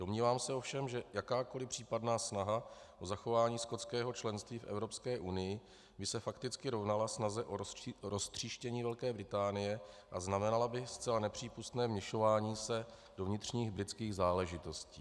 Domnívám se ovšem, že jakákoliv případná snaha o zachování skotského členství v Evropské unii by se fakticky rovnala snaze o roztříštění Velké Británie a znamenala by zcela nepřípustné vměšování se do vnitřních britských záležitostí.